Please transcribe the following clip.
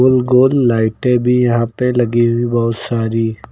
गोल गोल लाइटें भी यहां पे लगी हुई बहोत सारी --